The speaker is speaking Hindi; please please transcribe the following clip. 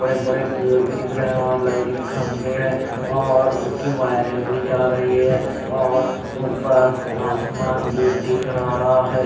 बड़े बड़े पेड़ भी दिख रहे हैं और लाइट के खंभे हैं और उनकी वायरिंग भी जा रही है और ऊपर आसमान भी दिख रहा है।